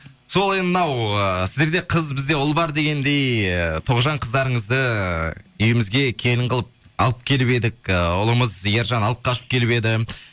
сол енді мынау ы сіздерде қыз бізде ұл бар дегендей ы тоғжан қыздарыңызды үйімізге келін қылып алып келіп едік ыыы ұлымыз ержан алып қашып келіп еді